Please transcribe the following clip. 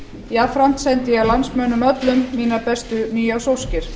jafnframt sendi ég landsmönnum öllum mínar bestu nýársóskir